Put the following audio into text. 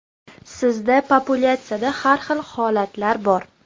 Sizda populyatsiyada har xil holatlar bor.